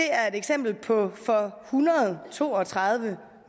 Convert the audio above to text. er et eksempel på for hundrede og to og tredive